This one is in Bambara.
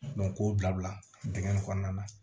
k'o bila dingɛ in kɔnɔna na